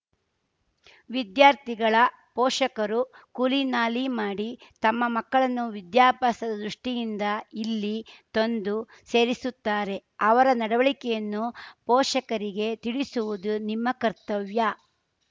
ವಿದ್ಯಾರ್ಥಿಗಳ ಪೋಷಕರು ಕೂಲಿನಾಲಿ ಮಾಡಿ ತಮ್ಮ ಮಕ್ಕಳನ್ನು ವಿದ್ಯಾಭ್ಯಾಸದ ದೃಷ್ಟಿಯಿಂದ ಇಲ್ಲಿ ತಂದು ಸೇರಿಸುತ್ತಾರೆ ಅವರ ನಡವಳಿಕೆಯನ್ನು ಪೋಷಕರಿಗೆ ತಿಳಿಸುವುದು ನಿಮ್ಮ ಕರ್ತವ್ಯ